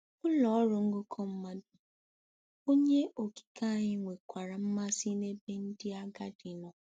Ụlọ ọrụ ngụkọ mmadụ. Onye Okike anyị nwekwara mmasị n'ebe ndị agadi nọ.